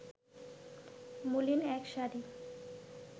মলিন এক শাড়ি